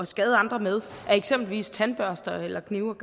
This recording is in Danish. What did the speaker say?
skade andre med af eksempelvis tandbørster knive